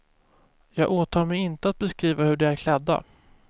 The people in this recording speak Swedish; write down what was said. Jag åtar mig inte att beskriva hur de är klädda.